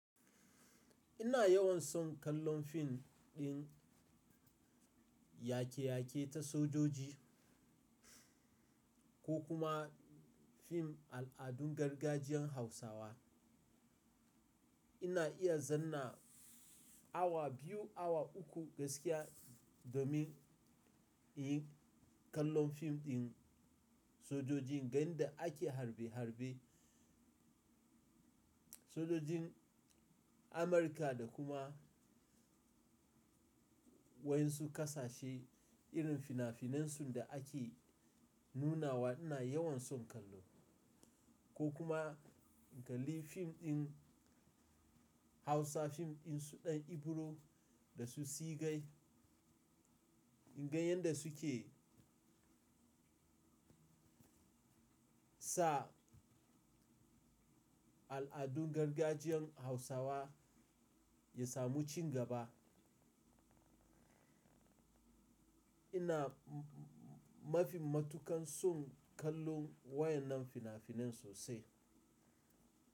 Ina yawan son kallon fim ɗin yake yake ta sojoji ko kuma fim al'adun gargajiyan Hausawa. Ina iya zanna awa biyu, awa uku gaskiya domin in yi kallon fim ɗin sojojin, ganin da ake harbe harbe. Sojojin Amurka da kuma wayan su ƙasashe irin finafinan su da ake nunawa ina yawan son kallo ko kuma in kalli fim ɗin Hausa fim ɗin su ɗan Ibro da su Sigai, in gan yanda su ke sa al'adun gargajiyan Hausawa ya samu ci gaba. Ina mafi matukan son kallon wayan nan finafinan sosai.